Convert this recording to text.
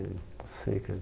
Eu não sei, cara.